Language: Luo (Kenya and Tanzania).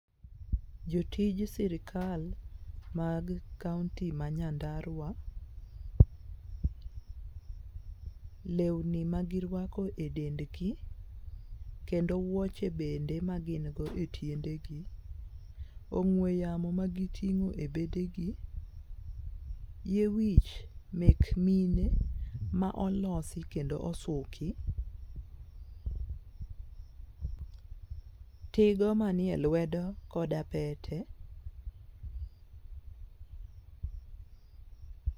Jotij sirikal mag kaunti ma nyandarua lewni ma girwako e dendgi, kendo wuoche bende ma gin go e tiendegi. Ong'we yamo ma giting'o e bedegi, yie wich mek mine ma olosi kendo osuki, tigo manie lweo koda pete